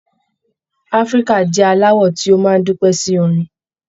Áfíríkà jẹ alawọ ti o máa dúpẹ sí orin